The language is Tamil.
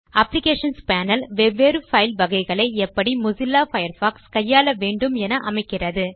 அப்ளிகேஷன்ஸ் பேனல் வெவ்வேறு பைல் வகைகளை எப்படி மொசில்லா பயர்ஃபாக்ஸ் கையாள வேண்டும் என அமைக்கிறது